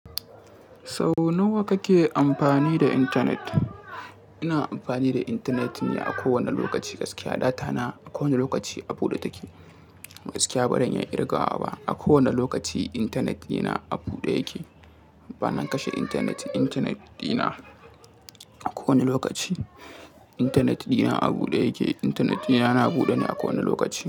Sau nawa kake amfani da intanet? Ina amfani da intanet ne a kowane lokaci, gaskiya data na a kowane lokaci a buɗe take. Gaskiya baran iya ƙirga wa ba, a kowane lokaci intanet dina a buɗe yake. Bana kashe intanet intanet dina a kowane lokaci. Intanet dina a buɗe yake. Intanet dina yana buɗe ne a kowane lokaci.